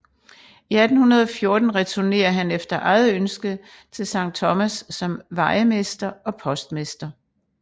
I 1814 returnerer han efter eget ønske til Sankt Thomas som vejermester og postmester